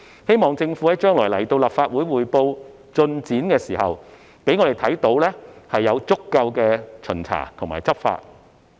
希望政府將來向立法會匯報進展的時候，可以讓我們看到有足夠的巡查和執法。